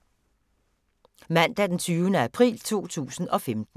Mandag d. 20. april 2015